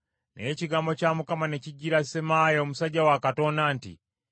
Naye ekigambo kya Mukama ne kijjira Semaaya omusajja wa Katonda nti,